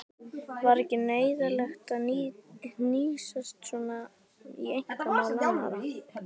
Var ekki neyðarlegt að hnýsast svona í einkamál annarra?